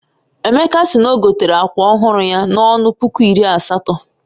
Emeka si n'ogotere akwa ọhụrụ ya na-ọnụ puku iri asatọ